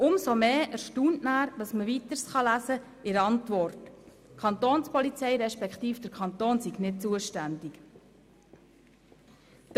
Umso mehr erstaunt dann, dass man in der Antwort weiterlesen kann, dass die Kantonspolizei, respektive der Kanton nicht zuständig sei.